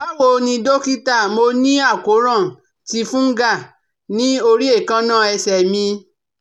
Bawo ni dókítà, mo ni akoran ti fungal ni ori ekanna ese mì